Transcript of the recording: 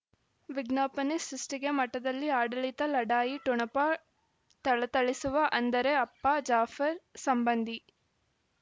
ವಿಜ್ಞಾಪನೆ ಸುಷ್ಟಿಗೆ ಮಠದಲ್ಲಿ ಆಡಳಿತ ಲಢಾಯಿ ಠೊಣಪ ಥಳಥಳಿಸುವ ಅಂದರೆ ಅಪ್ಪ ಜಾಫರ್ ಸಂಬಂದಿ